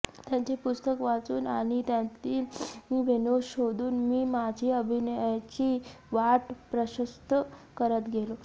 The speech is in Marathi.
त्यांची पुस्तकं वाचून आणि त्यांतील विनोद शोधून मी माझी अभिनयाची वाट प्रशस्त करत गेलो